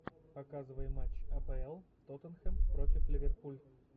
показывай матч апл тоттенхэм против ливерпуль